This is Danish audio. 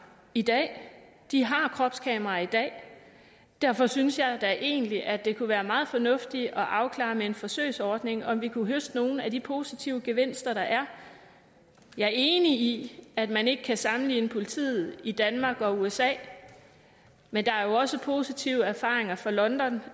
i dag de har kropskameraer i dag derfor synes jeg da egentlig at det kunne være meget fornuftigt at afklare med en forsøgsordning om vi kunne høste nogle af de positive gevinster der er jeg er enig i at man ikke kan sammenligne politiet i danmark og usa men der er jo også positive erfaringer fra london